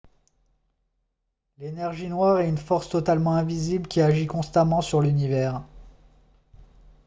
l'énergie noire est une force totalement invisible qui agit constamment sur l'univers